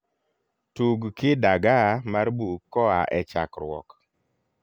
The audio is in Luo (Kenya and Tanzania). tug kidagaaa mar buk koa e chakruok